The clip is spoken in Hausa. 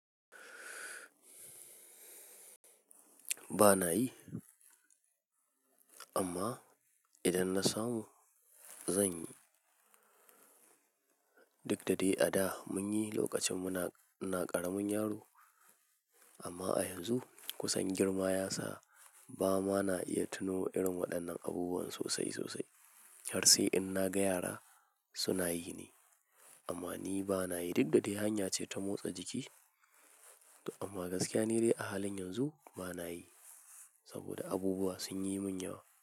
Ba na yi, amma idan na samu zan yi. Duk da dai a da mun yi lokacin muna ƙaramin yaro, amma a yanzu kusan girma ya sa ba ma na iya tuno irin waɗannan abubuwan sosai sosai. Kyarsai in na ga yara suna yi ne, amma ni ba na yi. Duk da dai hanya ce ta motsa jiki amma gaskiya ne dai a halin yanzu ba na yi saboda abubuwa sun yi mun yawa.